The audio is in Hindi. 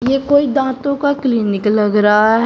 ये कोई दांतों का क्लीनिक लग रहा है।